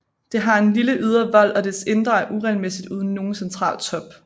Det har en lille ydre vold og dets indre er uregelmæssigt uden nogen central top